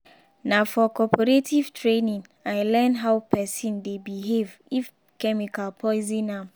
na for cooperative training i learn how person dey behave if chemical poison am.